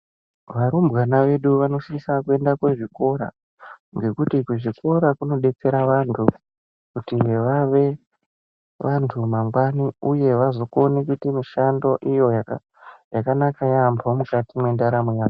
Varumbwana vedu vanosisa kuenda kuzvikora, ngekuti kuzvikora kunodetsera vantu kuti vave vantu mangwani uye vazokone kuite mishando iyo yakanaka yaambo mukati mwendaramo yavo.